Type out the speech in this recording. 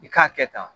I k'a kɛ tan